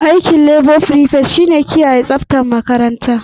Aikin labo frifet shi ne kiyaye tsaftar makaranta.